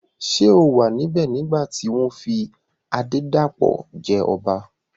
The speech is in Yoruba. Ṣé o wà níbẹ̀ nígbà tí wọ́n fi Adédàpọ̀ jẹ ọba?